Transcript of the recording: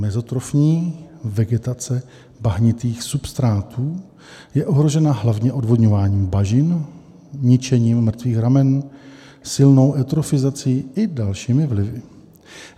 Mezotrofní vegetace bahnitých substrátů je ohrožena hlavně odvodňováním bažin, ničením mrtvých ramen silnou eutrofizací i dalšími vlivy.